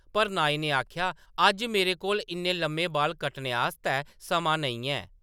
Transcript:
पर नाई ने आखेआ, “अज्ज मेरे कोल इन्ने लम्मे बाल कट्टने आस्तै समां नेईं है !”